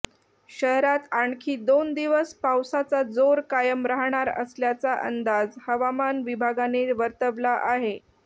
शहरात आणखी दोन दिवस पावसाचा जोर कायम राहणार असल्याचा अंदाज हवामान विभागाने वर्तवला आहे